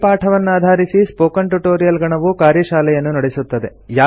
ಈ ಪಾಠವನ್ನಾಧಾರಿಸಿ spoken tutorial ಗಣವು ಕಾರ್ಯಶಾಲೆಯನ್ನು ನಡೆಸುತ್ತದೆ